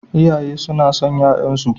Iyaye suna son ƴaƴansu.